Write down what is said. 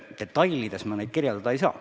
Detailselt ma neid kirjeldada ei saa.